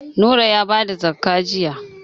Nura ya ba da zakka jiya.